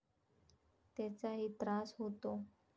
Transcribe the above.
त्याचाही त्रास होतो.